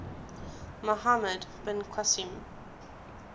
muhammad bin qasim